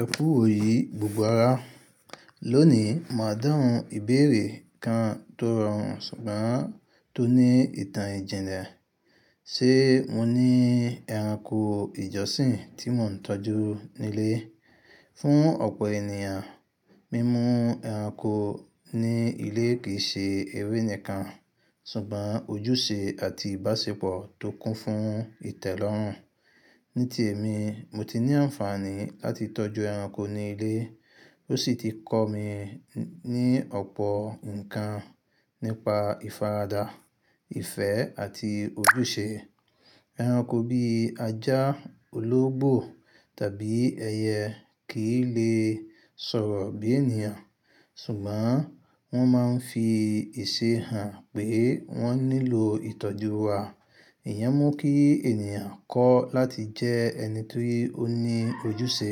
Ẹ kú iwo yi gbogbo ara. Lónìí, máa dáhùn ìbéèrè kan tó rọrùn ṣùgbọ́n tó ní ìtàn ìjìnlẹ̀: ṣe mo ní ẹranko ìjọsìn tí mò ń tọ́jú nílé? Fún ọ̀pọ̀ ènìyàn, mímú ẹranko ní ilé kì í ṣe eré nìkan ṣùgbọ́n ojúṣe àti ìbáṣepọ̀ tó kún fún ìtẹ́lọ́rùn. Ní ti èmi, mo ti ní àǹfààní láti tọ́jú ẹranko ní ilé, ó sì ti kọ́ mi ní ọ̀pọ̀ ǹkan nípa ìfaradà, ìfẹ́, àti ojúṣe. Ẹranko bíi ajá, ológbò, tàbí ẹyẹ kìí lè sọ̀rọ̀ bí ènìyàn, ṣùgbọ́n wọ́n máa ń fi ìṣe hàn pé wọ́n nílò ìtọ́jú wa. Ìyẹ́n mú kí ènìyàn kọ́ láti jẹ ẹni tó ní ojúṣe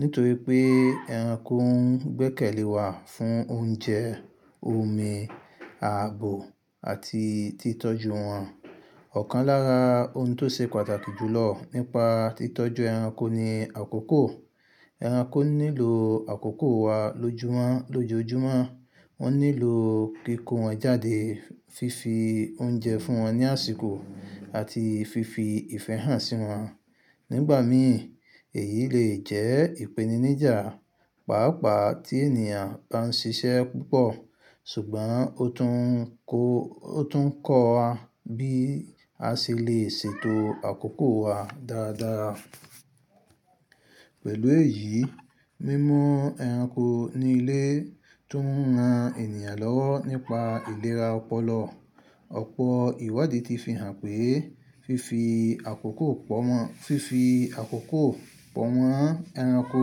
nítorí pé ẹranko ń gbẹ́kẹ̀lé wa fún oúnjẹ, omi, ààbò, àti títọ́jú wọn. Ọ̀kan lára ohun tó ṣe pàtàkì jù lọ nípa títọ́jú ẹranko ni àkókò. Ẹranko nílò àkókò wa lójoojúmọ́. Wọ́n nílò kí ko wọn jáde, fífi oúnjẹ fún wọn ní àsìkò àti fífi ìfẹ́ hàn sí wọn. Nígbà mí, èyí lè jẹ́ ìpèníníjà, pàápàá tí ènìyàn bá ń ṣiṣẹ́ púpọ̀, ṣùgbọ́n ó tún kọ́ wa bí a ṣe lè ṣètò àkókò wa dáradára. Pẹ̀lú èyí, mímú ẹranko ní ilé tún ran ènìyàn lọ́wọ́ nípa ìlera ọpọlọ. Ọ̀pọ̀ ìwádìí ti fi hàn pé fífi àkókò pọ̀ mọ́ ẹranko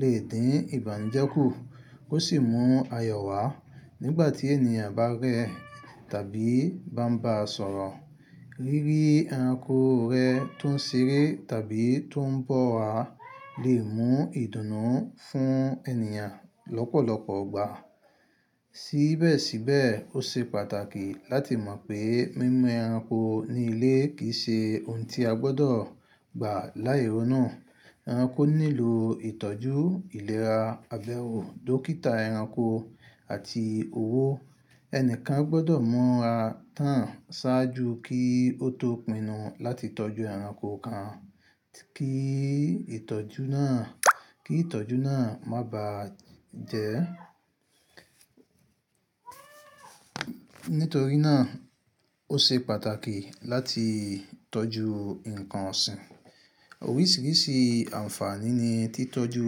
lè dín ìbànújẹ́ kù, ó sì mú ayọ̀ wá. Nígbà tí ènìyàn bá rẹ tàbí bá ń ba sọ̀rọ̀, ri ríi ẹranko rẹ tó ń ṣeré tàbí tó ń bọ́ wa lè mú ìdùnnú fún ènìyàn lọ́pọ̀lọpọ̀ igbà. Sí bẹ́ẹ̀ sí bẹ́ẹ̀, ó ṣe pàtàkì láti mọ̀ pé mímú ẹranko ní ilé kì í ṣe ohun tí a gbọdọ̀ gbà láì rónú. Ẹranko nílò ìtọ́jú, ìlera, abẹ́wo, dókítà ẹranko àti owó. Ẹnìkan gbọdọ̀ mura tán ṣáájú kí ó tó pinnu láti tọ́jú ẹranko kan kí ìtọ́jú náà má bà jẹ. Nítorí náà, ó ṣe pàtàkì láti tọ́jú ǹkan ọ̀sìn. Oríṣiríṣi àǹfààní ni títọ́jú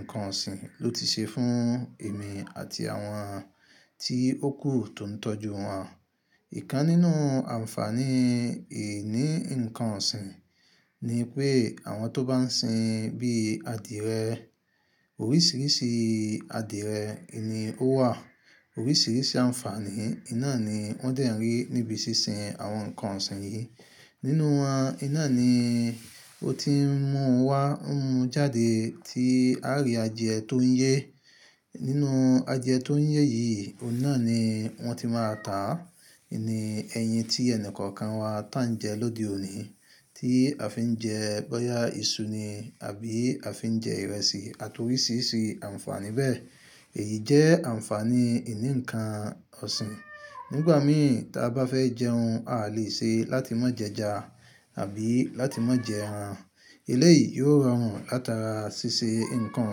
ǹkan ọ̀sìn ló ti ṣe fún èmi àti àwọn tí ó kù tó ń tọ́jú wọn. Ìkan nínú àǹfààní ìní ǹkan ọ̀sìn ni pé àwọn tó bá ń sin bí i adìrẹ, oríṣiríṣi adìrẹ nì o wà, oríṣiríṣi àǹfààní iná ni wọ́n ti ń rí níbi ṣíṣìn àwọn ǹkan ọ̀sìn yìí. Nínú wọn, iná ni ó ti ń mú wa mu jáde tí a rí adire tó ń yè. Nínú adire tó ń yè yìí, inú iná ni wọ́n ti máa tà. Ni ẹyin tí ẹni kọ̀ọ̀kan wa tà ń jẹ lóde òní, tí a fi ń jẹ bọ́yá iṣu ni àbí a fi ń jẹ ìrẹsì àti oríṣiríṣi àǹfààní bẹ́ẹ̀. Èyí jẹ́ àǹfààní ìní ǹkan ọ̀sìn. Nígbà mí, tí a bá fẹ́ jẹ ohun, a lè ṣe láti má jẹ ẹja àbí láti má jẹ ẹran. Ilé yìí yóò rọrùn látara ṣíṣe ǹkan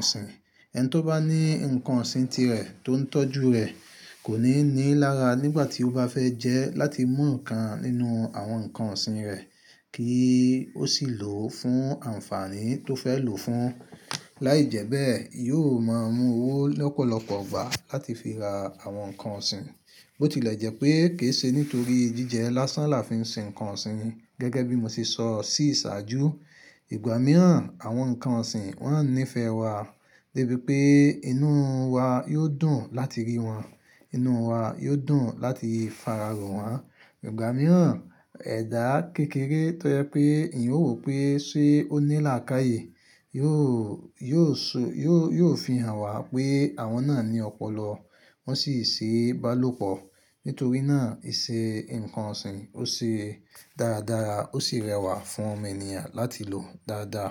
ọ̀sìn. Ẹni tó bá ní ǹkan ọ̀sìn tirẹ̀ tó ń tọ́jú rẹ̀ kò ní ní lára nígbà tí ó bá fẹ́ jẹ láti mú ikan nínú àwọn ǹkan ọ̀sìn rẹ̀ kí ó sì lò ó fún àǹfààní tó fẹ́ lò fún. Láìjẹ́bẹ́ẹ̀, yóò máa mú owó lọ́pọ̀lọpọ̀ gbà láti fi ra àwọn ǹkan ọ̀sìn. Bó tilẹ̀ jẹ́ pé kì í ṣe nítorí jíjẹ lásán la fi ń sin ǹkan ọ̀sìn. Gẹ́gẹ́ bí mo ṣe sọ sí ìṣáájú, ìgbà mìíràn àwọn ǹkan ọ̀sìn wọ́n á nífẹ̀ẹ́ wa débi pé inú wa yóò dùn láti rí wọn, inú wa yóò dùn láti fararo wọ́n. Ìgbà mìíràn, ẹ̀dá kékeré tó jẹ́ pé eyan wo pé ṣe ó ní làákàyè yóò fi hàn wá pé àwọn náà ní ọpọlọ, wọ́n sì ṣe bá lò pọ̀. Nítorí náà, ìṣe ǹkan ọ̀sìn ó ṣe dáradára ó sì rẹwà fún ọmọ ènìyàn láti lò dáadáa.